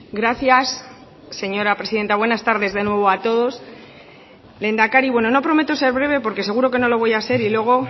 gracias señora presidenta buenas tardes de nuevo a todos lehendakari bueno no prometo ser breve porque seguro que no lo voy a ser y luego